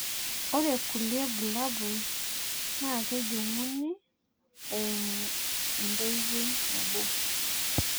ore kulie bulabol naa kejung'uni eimu entoiwoi nabo.